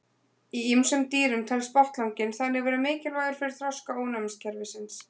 Í ýmsum dýrum telst botnlanginn þannig vera mikilvægur fyrir þroska ónæmiskerfisins.